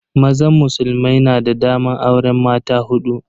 Mazan musulmai na da daman auren mata hudu.